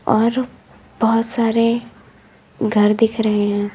और बहोत सारे घर दिख रहे हैं।